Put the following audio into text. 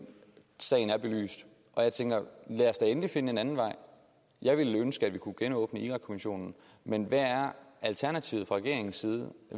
sagen er belyst og jeg tænker lad os da endelig finde en anden vej jeg ville ønske at vi kunne genåbne irakkommissionen men hvad er alternativet fra regeringens side